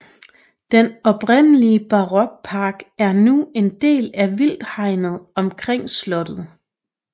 Den oprindelige barokpark er nu en del af vildthegnet omkring slottet